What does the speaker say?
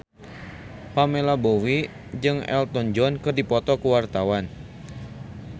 Pamela Bowie jeung Elton John keur dipoto ku wartawan